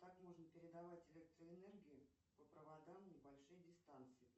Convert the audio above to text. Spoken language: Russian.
как можно передавать электроэнергию по проводам на большие дистанции